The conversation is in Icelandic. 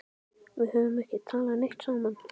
Við höfum ekki talað neitt saman.